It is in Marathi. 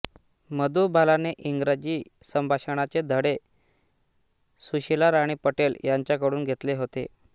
मधुबालाने इंग्रजी संभाषणाचे धडे सुशीलाराणी पटेल यांच्याकडून घेतले होते